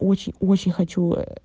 очень-очень хочу